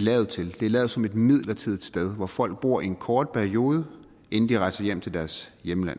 lavet til det er lavet som et midlertidigt sted hvor folk bor i en kort periode inden de rejser hjem til deres hjemland